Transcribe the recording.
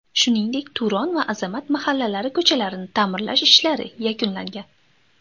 Shuningdek, Turon va Azamat mahallalari ko‘chalarini ta’mirlash ishlari yakunlangan.